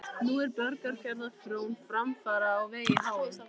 Nú er Borgarfjarðar frón framfara á vegi háum.